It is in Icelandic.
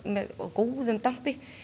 góðum dampi